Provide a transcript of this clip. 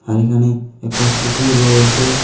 আর এখানে একটা পুকুর রয়েসে।